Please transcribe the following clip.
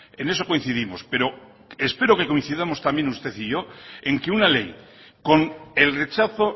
en eso coincidimos pero espero que coincidamos también usted y yo en que una ley con el rechazo